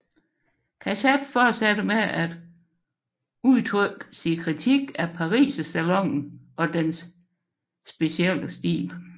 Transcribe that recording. Cassatt fortsatte med at udtrykke sin kritik af Parisersalonen og dens konventionelle stil